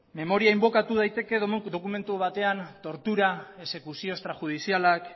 memoria inbokatu daiteke dokumentu batean tortura exekuzio extrajudizialak